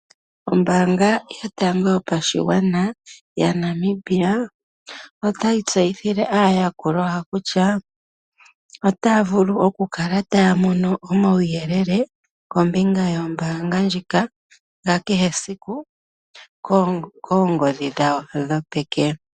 Ombaanga yotango yopashigwana yaNamibia, otayi tseyithile aayakulwa yawo kutya otaya vulu okukala taya mono omauyelele kombinga yombaanga ndjika yakehe esiku koongodhi dhawo dhopeke.